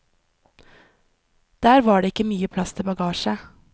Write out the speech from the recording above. Der var det ikke mye plass til bagasje.